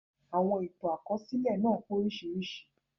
Àwọn ìtàn àkọsílẹ̀ náà pé oríṣiríṣi.